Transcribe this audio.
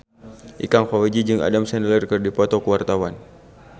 Ikang Fawzi jeung Adam Sandler keur dipoto ku wartawan